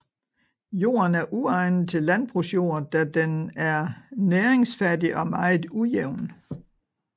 Jorden er uegnet til landbrugsjord da den er næringsfattig og meget ujævn